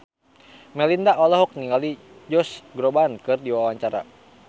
Melinda olohok ningali Josh Groban keur diwawancara